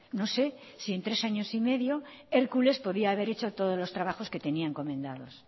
no sé si en tres años y medio hércules podía haber hecho todos los trabajos que tenía encomendados